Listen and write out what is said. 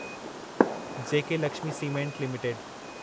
जेके Lakshmi cement limited